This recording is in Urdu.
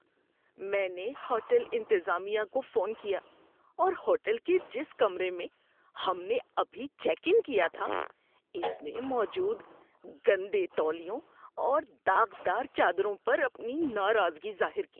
میں نے ہوٹل انتظامیہ کو فون کیا اور ہوٹل کے جس کمرے میں ہم نے ابھی چیک ان کیا تھا اس میں موجود گندے تولیوں اور داغدار چادروں پر اپنی ناراضگی ظاہر کی۔